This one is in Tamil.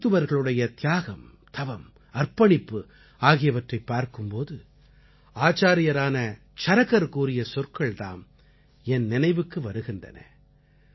மருத்துவர்களுடைய தியாகம் தவம் அர்ப்பணிப்பு ஆகியவற்றை பார்க்கும் போது ஆச்சார்யரான சரகர் கூறிய சொற்கள் தாம் என் நினைவுக்கு வருகின்றன